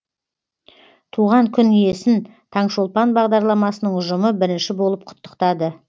туған күн иесін таңшолпан бағдарламасының ұжымы бірінші болып құттықтады